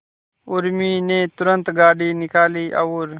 उर्मी ने तुरंत गाड़ी निकाली और